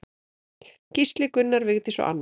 Gísli, Gunnar, Vigdís og Anna.